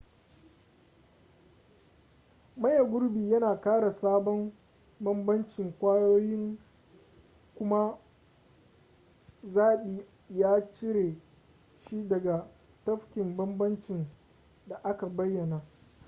maye gurbi yana ƙara sabon bambancin kwayoyin kuma zaɓi ya cire shi daga tafkin bambancin da aka bayyana